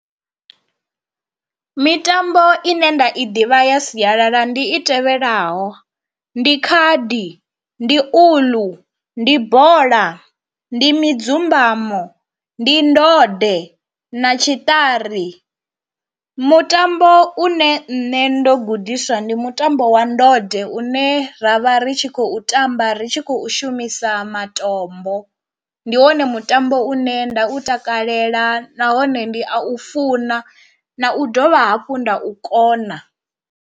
Mitambo ine nda i ḓivha ya sialala ndi i tevhelaho, ndi khadi, ndi uḽu, ndi bola, ndi midzumbamo, ndi ndode na tshiṱari, mutambo une nṋe ndo gudiswa ndi mutambo wa ndode une ra vha ri tshi khou tamba ri tshi khou shumisa matombo, ndi wone mutambo une nda u takalela nahone ndi a u funa na u dovha hafhu nda u kona.